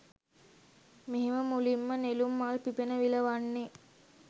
මෙහෙම මුලින්ම නෙළුම් මල් පිපෙන විල වන්නේ